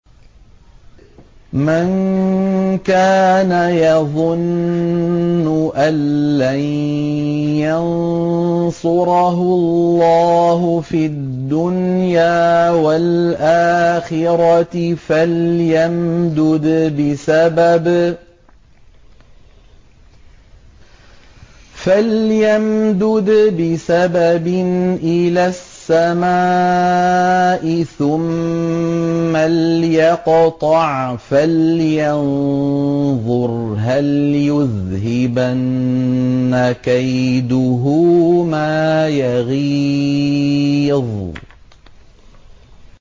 مَن كَانَ يَظُنُّ أَن لَّن يَنصُرَهُ اللَّهُ فِي الدُّنْيَا وَالْآخِرَةِ فَلْيَمْدُدْ بِسَبَبٍ إِلَى السَّمَاءِ ثُمَّ لْيَقْطَعْ فَلْيَنظُرْ هَلْ يُذْهِبَنَّ كَيْدُهُ مَا يَغِيظُ